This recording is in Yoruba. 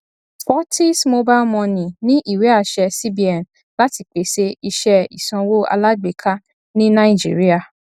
fortis mobile money ní ìwéàṣẹ cbn láti pèsè iṣẹ ìsanwó alágbèká ní naijiría